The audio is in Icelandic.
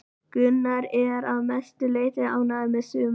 Gunnar er að mestu leiti ánægður með sumarið.